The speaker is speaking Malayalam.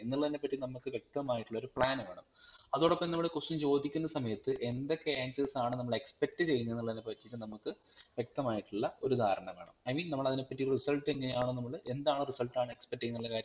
എന്നുള്ളതിന്റെ പറ്റി നമക് വെക്തമായിട്ടുള്ളൊരു plan വേണം അതോടൊപ്പം നമ്മൾ question ചോദിക്കുന്ന സമയത് എന്തൊക്കെ answers ആണ് നമ്മൾ expect ചെയ്യുന്നത് എന്നുള്ളതിനേപ്പറ്റി നമുക്ക് വെക്തമായിട്ടുള്ള ഒരു ധാരണവേണം I Mean നമ്മൾ അതിനെപറ്റിട്ട് result എങ്ങനെ ആണോ നമ്മൾ എന്താണ് result ആണ് expect ചെയുന്നെ